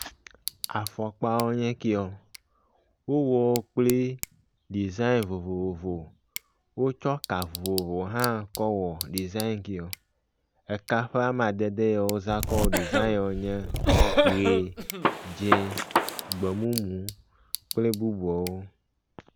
Afɔkpawo nye kɛwoa. Wowɔ wo kple dizãeŋ vovovo, wotsɔ ka vovovo hã kɔ wɔ dizãeŋ kɛe. Eka ƒe amadede wozã kɔ wɔ dizãeŋwoe nye, ʋi, dzĩ, gbemumu kple bubuawo.